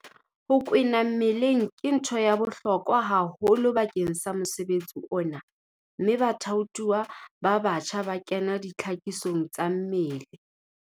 Ho kwena mmeleng ke ntho ya bohlokwa haholo bakeng sa mosebetsi ona mme bathaothuwa ba batjha ba kena ditlhakisong tsa mmele.